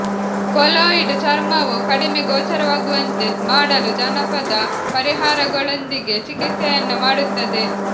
keloid ಚರ್ಮವು ಕಡಿಮೆ ಗೋಚರವಾಗುವಂತೆ ಮಾಡಲು ಜಾನಪದ ಪರಿಹಾರಗಳೊಂದಿಗೆ ಚಿಕಿತ್ಸೆಯನ್ನು ಮಾಡುತ್ತದೆ